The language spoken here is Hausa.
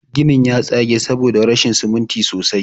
Ginin ya tsage saboda rashin siminti sosai.